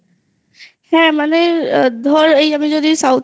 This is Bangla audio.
হ্যাঁ মানে ধর আমি যদি South এর